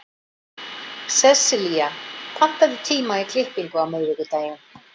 Sessilía, pantaðu tíma í klippingu á miðvikudaginn.